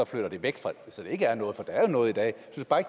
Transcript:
flytter det væk så der ikke er noget for der er jo noget i dag